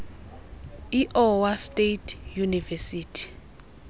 iowa state university